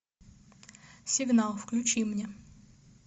сигнал включи мне